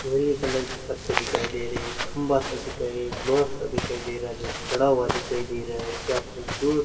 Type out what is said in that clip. नीली कलर के पत्ते दिखाई दे रहे है खंभा सा दिख रहा है एक बास सा दिखाई दे रहा है जो खड़ा हुआ दिखाई दे रहा है क्या खूबसूरत --